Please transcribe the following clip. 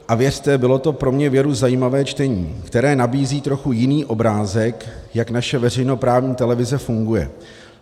A věřte, bylo to pro mě věru zajímavé čtení, které nabízí trochu jiný obrázek, jak naše veřejnoprávní televize funguje.